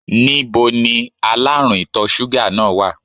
Ní bo ni aláàrùn ìtọ̀ súgà náà wà?